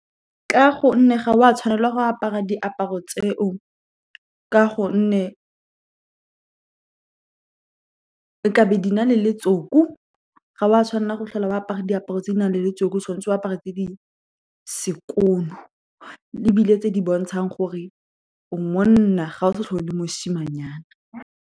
Ka gonne ga o a tshwanelwa go apara diaparo tseo ka gonne di na le letsoku. Ga o a tshwanela go tlhola o apere diaparo tse di nang le letsoku, o tshwanetse go apara tse di sekono, ebile tse di bontshang gore o monna. Ga o sa tlhole le mosimanyana.